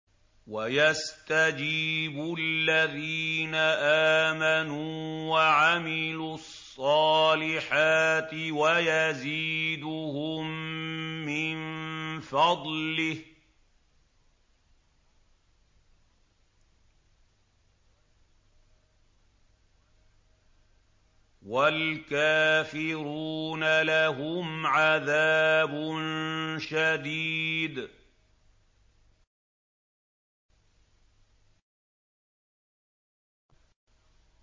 وَيَسْتَجِيبُ الَّذِينَ آمَنُوا وَعَمِلُوا الصَّالِحَاتِ وَيَزِيدُهُم مِّن فَضْلِهِ ۚ وَالْكَافِرُونَ لَهُمْ عَذَابٌ شَدِيدٌ